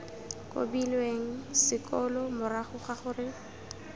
kobilweng sekolo morago ga gore